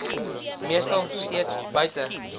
meestal steeds buite